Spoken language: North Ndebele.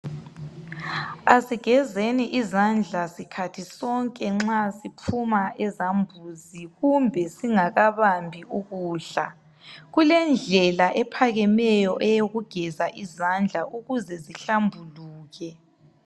Asigezeni izandla sikhathi sonke nxa siphuma ezambuzi kumbe singakabambi ukudla kulendlela ephakameyo eyokugeza izandla ukuze zihlambuluke.